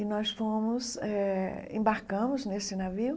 E nós fomos, eh embarcamos nesse navio,